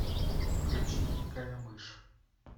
включи дикая мышь